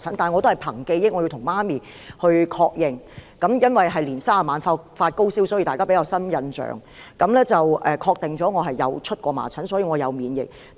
我母親已確認，由於我在農曆年三十晚發高燒，所以大家印象比較深，她確認我曾患麻疹，所以我有免疫力。